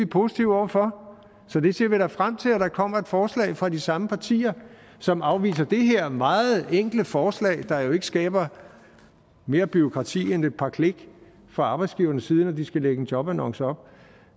positive over for så vi ser da frem til at der kommer et forslag fra de samme partier som afviser det her meget enkle forslag der jo ikke skaber mere bureaukrati end et par klik fra arbejdsgivernes side når de skal lægge en jobannonce op